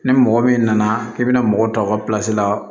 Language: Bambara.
Ni mɔgɔ min nana i bɛna mɔgɔ ta aw ka la